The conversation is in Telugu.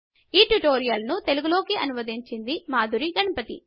ఈ ట్యుటోరియల్ను తెలుగు లోకి అనువదించింది మాధురి గణపతి